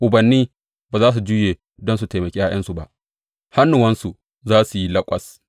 Ubanni ba za su juye don su taimaki ’ya’yansu ba; hannuwansu za su yi laƙwas.